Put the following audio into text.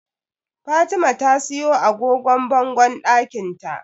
Fatima ta siyo agogon bangon ɗakinta.